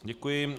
Děkuji.